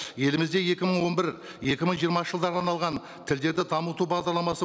елімізде екі мың он бір екі мың жиырмасыншы жылдарға арналған тілдерді дамыту бағдарламасы